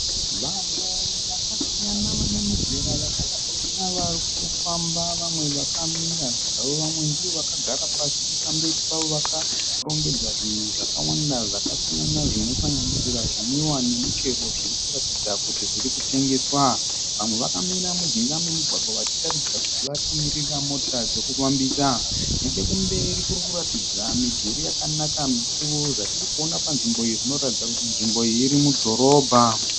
Vanhu vakasiyana vane mizera yakasiyana vari kufamba vamwe vakamira zvavo. Vamwe ndivo vakagara pasi pamberi pavo vakarongedza zvinhu zvakawanda zvakasiyana zvinosanganisira zvinwiwa nemichero zviri kuratidza kuti zviri kutengeswa. Vamwe vakamira mujinga memugwagwa vachitaridza kuti vari kumirira mota dzekufambisa. Nechokumberi kuri kuratidza midhuri yakanaka mikuru. Zvatiri kuona panzvimbo iyi zvinoratidza kuti nzvimbo iyi iri mudhorobha.